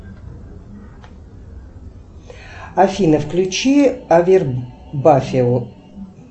афина включи авербафио